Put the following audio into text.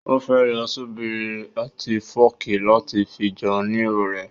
Ó fẹ́ lo ṣíbí àti fọ́ọ̀kì láti fi jẹun ní ìrọ̀lẹ́